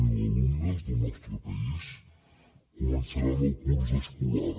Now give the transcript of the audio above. zero alumnes del nostre país començaran el curs escolar